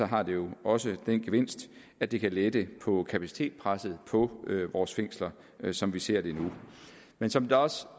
har det jo også den gevinst at det kan lette kapacitetspresset på vores fængsler som vi ser det nu men som det også